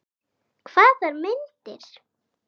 Hvaða myndir?